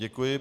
Děkuji.